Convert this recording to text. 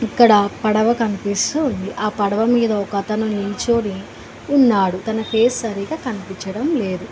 ఇక్కడ పడవ కనిపిస్తూ ఉంది ఆ పడవ మీద ఒకతను నుంచొని ఉన్నాడు తన ఫేస్ సరిగ్గా కనిపిచ్చడం లేదు.